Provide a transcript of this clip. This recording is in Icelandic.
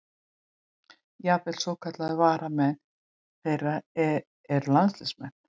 Jafnvel svokallaðir varamenn þeirra eru landsliðsmenn.